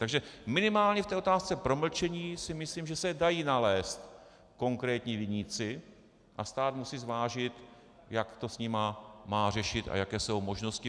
Takže minimálně v té otázce promlčení si myslím, že se dají nalézt konkrétní viníci a stát musí zvážit, jak to s nimi má řešit a jaké jsou možnosti.